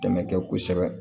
Dɛmɛ kɛ kosɛbɛ